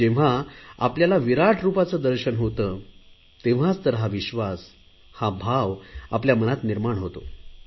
जेव्हा आपल्याला विराट रुपाचे दर्शन होते तेव्हाच तर हा विश्वास हा भाव आपल्या मनात निर्माण होतो